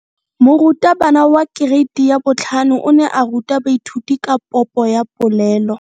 Moratabana wa kereiti ya 5 o ne a ruta baithuti ka popo ya polelo.